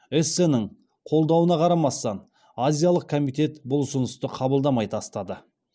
эссеннің қолдауына қарамастан азиялық комитет бұл ұсынысты қабылдамай тастады